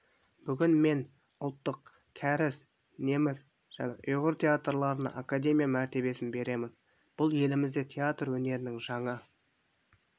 бүгін мен ұлттық кәріс неміс және ұйғыр театрларына академия мәртебесін беремін бұл елімізде театр өнерінің жаңа